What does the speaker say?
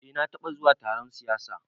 Eh na taɓa zuwa taron siyasa